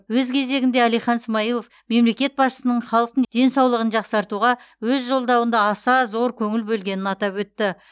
өз кезегінде әлихан смайылов мемлекет басшысының халықтың денсаулығын жақсартуға өз жолдауында аса зор көңіл бөлгенін атап өтті